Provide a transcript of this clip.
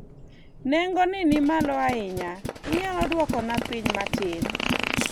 nengo ni ni malo ahinya, inyalo dwoko na piny matin?